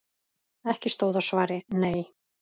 Ekki stóð á svari: Nei!